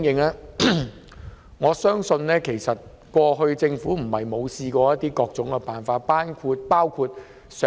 就此，我相信政府過去不是沒有想過各種辦法。